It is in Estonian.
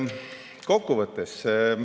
Kokkuvõte.